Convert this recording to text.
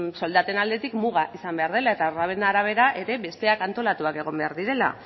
soldaten aldetik muga izan behar dela eta horren arabera besteak ere antolatuta egon behar direla